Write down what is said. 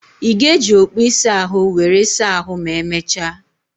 Ị ga-eji okpu ịsa ahụ were saa ahų ma emechaa?